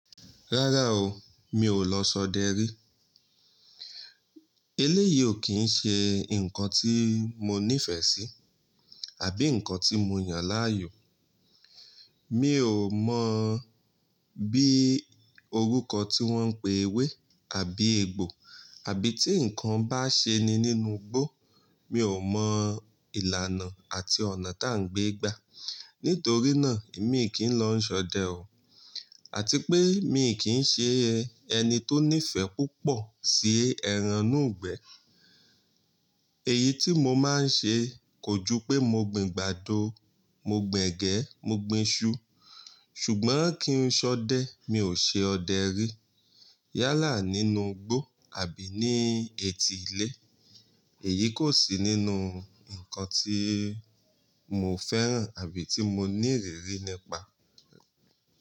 Rárá o, mi ò lọ ṣọdẹ rí. Eléyìí ò kí ń ṣe ǹkan tí mó nífẹ̀ẹ́ sí àbí ǹkan tí mó yàn láàyò. Mi ò mọ̀ bí orúkọ tí wọ́n ń pe ewé àbí egbò àbí tí ǹkan bá ṣe ni nínú igbó, mi ò mọ ìlànà àti ọ̀nà tá ń gbé gbà. Nítorí náà èmi kì í lọ ń ṣọdẹ o àti pé mi kì í ṣe ẹni tó nífẹ̀ẹ́ púpọ̀ sí ẹrànùgbẹ. Èyí tí mó máa ń ṣe kò ju pé mó gbìn gbàdó, mó gbìn ẹ̀gẹ́, mó gbìn iṣu. Ṣùgbọ́n kí n ṣọdẹ, mi ò ṣe ọdẹ rí yálà nínú igbó àbí ní etí ilé. Èyí kò sí nínú ǹkan tí mo fẹ́ràn àbí tí mo ní ìrírí nípa.